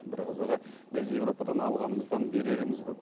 бір қызығы біз еуропадан алғанымыздан береріміз көп